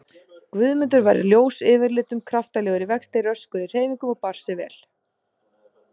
Guðmundur var ljós yfirlitum, kraftalegur í vexti, röskur í hreyfingum og bar sig vel.